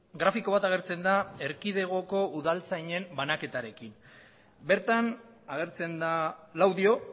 grafiko bat agertzen da erkidegoko udaltzainen banaketarekin bertan agertzen da laudio